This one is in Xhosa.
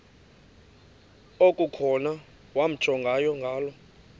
okukhona wamjongay ngaloo